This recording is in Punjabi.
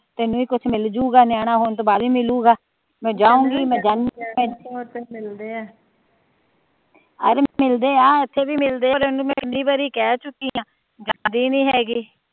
ਤੈਨੂੰ ਹੀ ਕੁਜ ਮਿਲਜੂਗਾ ਨਿਆਣਾ ਹੋਣ ਤੋਂ ਬਾਦ ਏ ਮਿਲੂਗਾ ਮੈ ਜਾਊਗੀ ਮੈ ਜਾਊਗੀ ਅਰੇ ਮਿਲਦੇ ਆ ਇਥੇ ਵੀ ਮਿਲਦੇ ਆ